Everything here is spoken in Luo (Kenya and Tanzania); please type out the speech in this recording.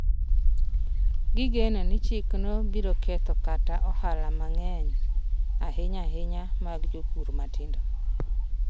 Gigeno ni chikno biro ketho kata ohala mang’eny, ahinya-ahinya mag jopur matindo.